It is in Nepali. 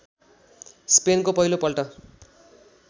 स्पेनको पहिलो पल्ट